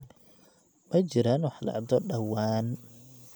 ma jiraan wax dhacdo dhawaan